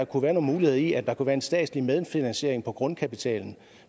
kunne være nogle muligheder i at der var en statslig medfinansiering af grundkapitalen